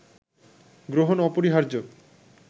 গ্রহণ অপরিহার্য